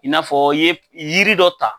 I n'a fɔ i ye yiri dɔ ta